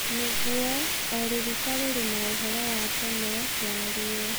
Nĩguo, na o rũruka rũrĩ na úhoro wa tene ya ruo.